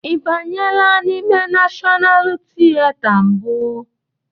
Ị banyela n'ime Nashọnal tieta mbụ?